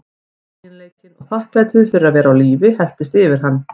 Feginleikinn og þakklætið fyrir að vera á lífi helltist yfir hann.